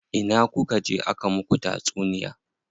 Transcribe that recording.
Ina kuka je aka muku tatsuniya?